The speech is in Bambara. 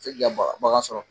E k'i ka bagan sɔrɔ